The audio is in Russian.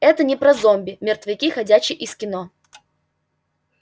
это не про зомби мертвяки ходячи из кино